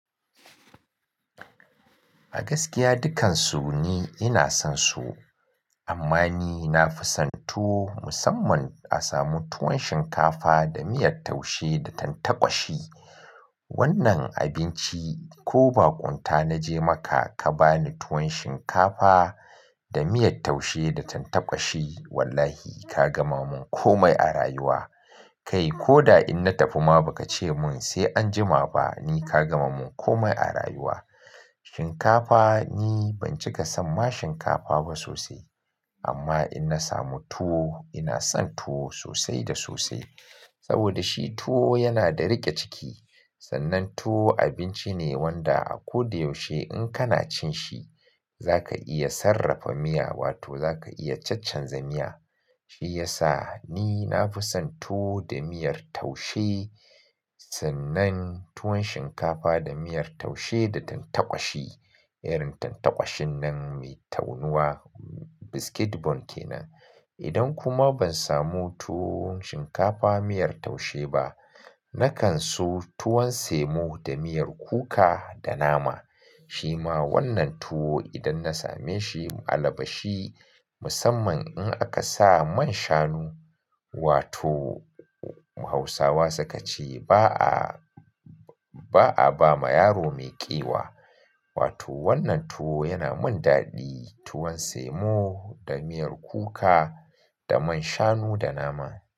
A gaskiya dukansu ni ina son su. Amma ni nafi son tuwo musamman a samu tuwon shinkafa da miyar taushe da tantakwashi. Wannan abinci ko baƙunta naje maka ka bani tuwon shinkafa da miyar taushe da tantakwashi wallahi ka gama mun komai a rayuwa. Kai ko da in na tafi ma bakace mun sai anjima ba ni ka gama mun komai a rayuwa. Shinkafa ni banjika son ma shinkafa ba sosai. Amma in na samu tuwo ina son tuwo sosai da sosai. Saboda shi tuwo yana da rike ciki. Sannan tuwo abinci ne wanda a koda yaushe in kana cin shi zaka iya sarrafa miya wato zaka iya caccan za miya. Shi yasa ni nafi son tuwo da miyar taushe. Sannan tuwon shinkafa da miyar taushe da tantakwashi. Irin tantakwashin nan mai taunuwa biscuit bone kenan. Idan kuma ban samu tuwon shinkafa miyar taushe ba, na kan so tuwon semo da miyar kuka da nama. Shi ma wannan tuwo idan na same shi ma allabashi musamman in aka sa man shanu, wato Hausawa suka ce ba a, ba a ba ma yaro maiƙewa. Wato wannan tuwo yana min daɗi tuwon semo da miyar kuka da man shanu da nama.